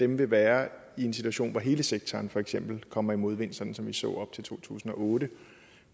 vil være i en situation hvor hele sektoren for eksempel kommer i modvind sådan som vi så op til to tusind og otte